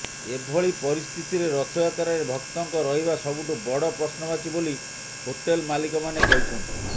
ଏଭଳି ପରିସ୍ଥିତିରେ ରଥଯାତ୍ରାରେ ଭକ୍ତଙ୍କ ରହିବା ସବୁଠୁ ବଡ଼ ପ୍ରଶ୍ନବାଚୀ ବୋଲି ହୋଟେଲ ମାଲିକମାନେ କହିଛନ୍ତି